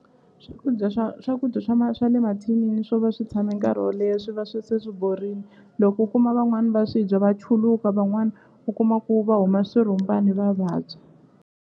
Swakudya swa swakudya swa swa le mathinini swo va swi tshame nkarhi wo leha swi va swi se swi borini loko u kuma van'wani va swi dya va chuluka van'wani u kuma ku va huma swirhumbani va vabya.